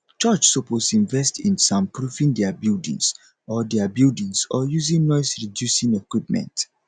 church suppose invest in soundproofing dia buildings or dia buildings or using noisereducing equipment